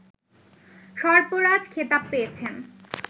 সর্পরাজ খেতাব পেয়েছেন